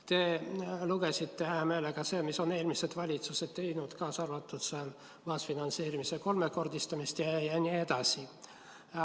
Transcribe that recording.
Te lugesite hea meelega ette selle, mida eelmised valitsused on teinud, kaasa arvatud kaasfinantseerimise kolmekordistamine jne.